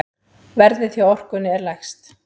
Verðið hjá Orkunni er lægst.